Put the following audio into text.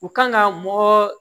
U kan ka mɔgɔ